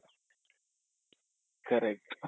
correct